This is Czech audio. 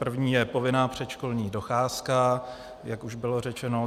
První je povinná předškolní docházka, jak už bylo řečeno.